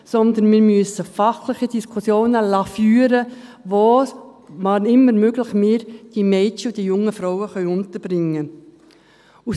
Vielmehr müssen wir fachliche Diskussionen darüber führen lassen, wo wir – wann immer möglich – die Mädchen und jungen Frauen unterbringen können.